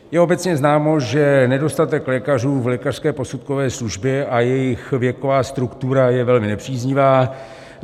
Je obecně známo, že nedostatek lékařů v lékařské posudkové službě a jejich věková struktura je velmi nepříznivá.